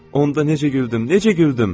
Onda necə güldün, necə güldün!